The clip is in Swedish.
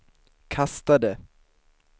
kastade